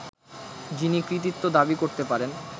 যিনি কৃতিত্ব দাবি করতে পারেন